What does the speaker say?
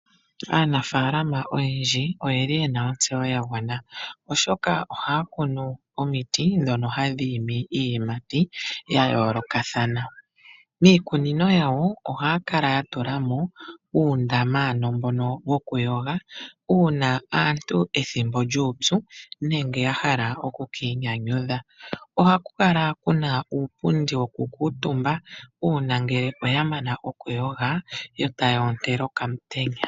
Aanafalama oyendji oyeli yena ontseyo yagwana oshoka ohaya kunu omiti ndhono hadhi imi iiyimati ya yoolokathana. Miikunino yawo ohaya kala yatula mo uundama, ano mbono wokuyoga, uuna aantu pethimbo lyuupyu, nenge yahala okukiinyanyudha. Ohaku kala kuna uupundi wokukuuntumba, uuna ngele oyamana okuyoga, yo taya ontele okamutenya.